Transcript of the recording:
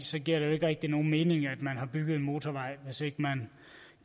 så giver det ikke rigtig nogen mening at man har bygget en motorvej hvis ikke man